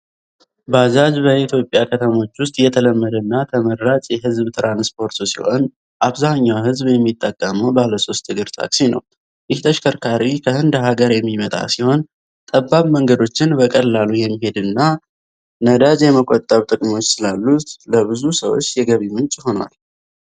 ባጃጅ በኢትዮጵያ ከተሞች ውስጥ የተለመደና ተመራጭ የህዝብ ትራንስፖርት ሲሆን፣ አብዛኛው ህዝብ የሚጠቀመው ባለሶስት እግር ታክሲ ነው። ይህ ተሽከርካሪ ከህንድ ሀገር የሚመጣ ሲሆን፣ ጠባብ መንገዶችን በቀላሉ የመሄድና ነዳጅ የመቆጠብ ጥቅሞች ስላሉት ለብዙ ሰዎች የገቢ ምንጭ ሆኗል።